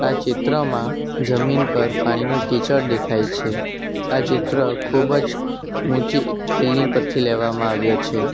ચિત્રમાં જમીન પર પાણીનું કિચડ દેખાય છે આ ચિત્ર ખૂબ જ ઊંચી બિલ્ડીંગ પરથી લેવામાં આવ્યો છે.